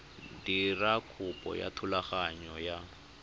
dira kopo ya thulaganyo ya